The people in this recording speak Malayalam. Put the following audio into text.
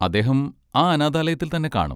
അദ്ദേഹം ആ അനാഥാലയത്തിൽ തന്നെ കാണും.